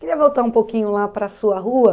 Queria voltar um pouquinho lá para a sua rua.